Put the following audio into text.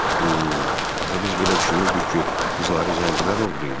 Axı biz belə düşünürdük ki, qızları zəncirlər oğurlayıblar.